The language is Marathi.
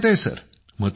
मथुरा मध्ये